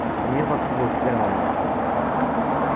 мир вокруг был серым и мёртвым